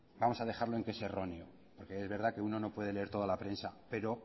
vamos a dejarlo en que es erróneo porque es verdad que uno no puede leer toda la prensa pero